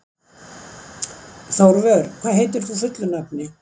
Þórvör, hvað heitir þú fullu nafni?